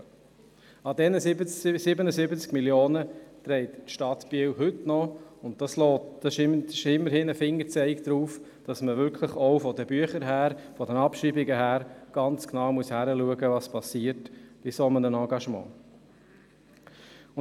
An diesen 77 Mio. Franken trägt die Stadt Biel noch heute, und das ist ein Hinweis dafür, dass man auch bei den Abschreibungen genau hinschauen muss.